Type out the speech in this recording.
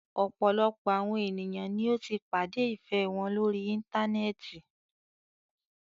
Ọ̀pọ̀lọpọ̀ àwọn ènìyàn ní o tí pàdé ìfẹ wọn lórí íntanẹ́ẹ̀ti.